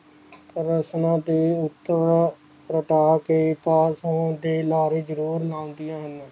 ਰੋਸ਼ਨ ਤੇ ਉੱਤੋਂ ਰਟਾ ਕੇ ਪਾਸ ਹੋਣ ਦੇ ਲਾਰੇ ਜਰੂਰ ਮੰਗਦੀਆਂ ਹਨ